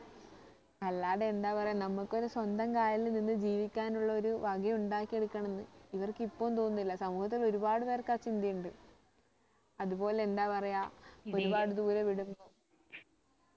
അല്ലാതെ എന്താ പറയാ നമുക്ക് ഒരു സ്വന്തം കാലിൽ നിന്ന് ജീവിക്കാനുള്ള ഒരു വക ഉണ്ടാക്കി എടുക്കണമെന്ന് ഇവർക്ക് ഇപ്പോഴും തോന്നുന്നില്ല സമൂഹത്തിൽ ഒരുപാട് പേർക്ക് ആ ചിന്ത ഉണ്ട് അതുപോലെ എന്താ പറയാ ഒരുപാട് ദൂരെ വിടുന്നു